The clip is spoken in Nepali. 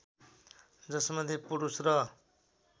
जसमध्ये पुरुष र